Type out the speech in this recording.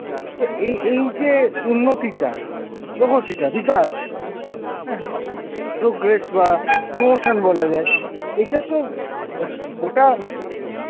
তো এ~ এই যে উন্নতিটা প্রগতিটা বিকাশ progress বা promotion বলা যায় এইটা তো গোটা